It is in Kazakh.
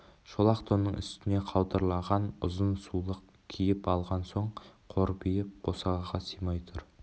шолақ тонның үстіне қаудырлаған ұзын сулық киіп алған соң қорбиып босағаға сыймай тұр